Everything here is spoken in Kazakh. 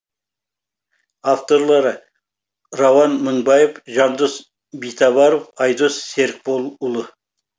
авторлары рауан мыңбаев жандос битабаров айдос серікболұлы